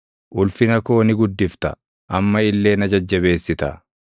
Ulfina koo ni guddifta; amma illee na jajjabeessita.